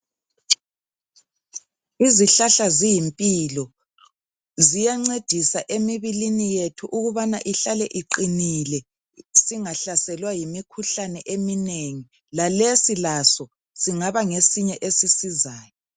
Izihlahla ziyimpilo ziyancedisa emibilini yethu ukubana ihlale iqinile singahlaselwa yimikhuhlane eminengi lalesi laso singaba ngesinye ngesisizayo.